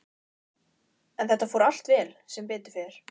En þetta fór allt vel, sem betur fer.